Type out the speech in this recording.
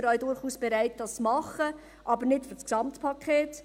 Wir sind auch durchaus bereit, das zu tun, aber nicht für das Gesamtpaket.